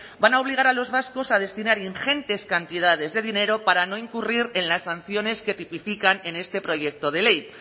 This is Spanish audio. van a obligar a los vascos a destinar ingentes cantidades de dinero para no incurrir en las sanciones que tipifican en este proyecto de ley